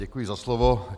Děkuji za slovo.